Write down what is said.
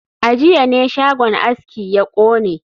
A jiya ne shagon aski ya kone